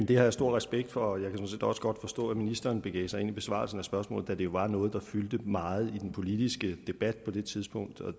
det har jeg stor respekt for jeg kan sådan set også godt forstå at ministeren begav sig ind i besvarelsen af spørgsmålet da det jo var noget der fyldte meget i den politiske debat på det tidspunkt og